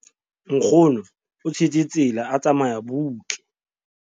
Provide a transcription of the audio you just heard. nkgono o tshetse tsela a tsamaya butle